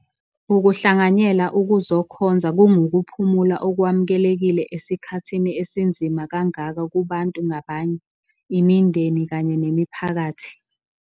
Ukuhlanganyela ukuzokhonza kungukuphumula okwamukelekile esikhathini esinzima kangaka kubantu ngabanye, imindeni kanye nemiphakathi.